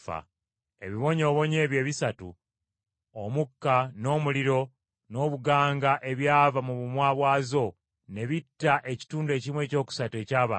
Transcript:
Ebibonyoobonyo ebyo ebisatu: Omukka n’omuliro n’obuganga ebyava mu bumwa bwazo ne bitta ekitundu ekimu ekyokusatu eky’abantu.